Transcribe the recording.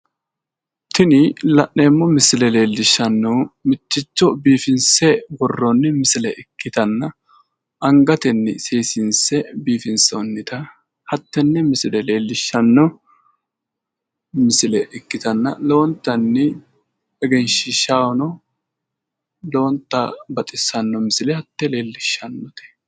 Tini la'neemmo misile leellishannohu mitticho biifinse worroonni misile ikkitanna angatenni seesinse biifonsoonnita hattenne misile leellishanno misile ikkitanna lowontanni egenshiishahono baxissanno misile hattee leellishannote